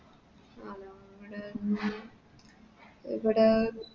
ആ നമ്മുടെ ഉം ഇവിടെ